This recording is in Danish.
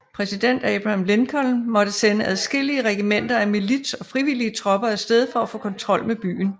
Præsident Abraham Lincoln måtte sende adskillige regimenter af milits og frivillige tropper af sted for at få kontrol med byen